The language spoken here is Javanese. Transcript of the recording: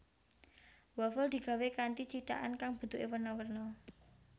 Wafel digawé kanthi cithakan kang bentuké werna werna